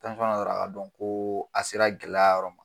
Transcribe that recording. yɔrɔ a ka dɔn ko a sera gɛlɛya yɔrɔ ma